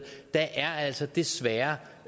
der er altså desværre